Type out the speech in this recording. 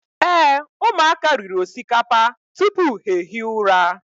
Ee, ụmụaka riri osikapa tupu ha ehi ụra.